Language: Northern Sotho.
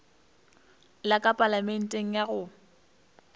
la ka palamenteng ya go